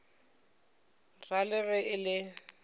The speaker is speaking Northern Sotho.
ra le ge e le